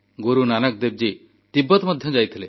Guru Nanak Devji Tibet ମଧ୍ୟ ଯାଇଥିଲେ